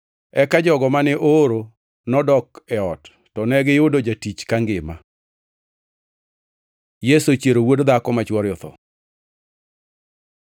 Eka jogo mane ooro nodok e ot to negiyudo jatich kangima. Yesu ochiero wuod dhako ma chwore otho